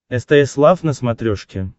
стс лав на смотрешке